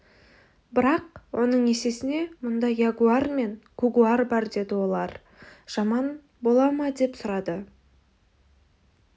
бірақ оның есесіне мұнда ягуар мен кугуар бар деді ол олар жаман бола ма деп сұрады